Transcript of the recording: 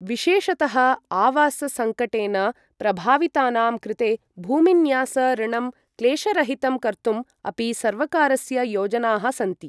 विशेषतः आवास संकटेन प्रभावितानां कृते भूमिन्यास ऋणं क्लेशरहितं कर्तुम् अपि सर्वकारस्य योजनाः सन्ति।